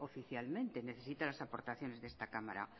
oficialmente necesita las aportaciones de esta cámara